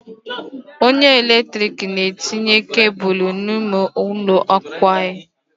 Onye ọrụ eletrik na-etinye kebụlụ n'ụlọ akwụkwọ anyị.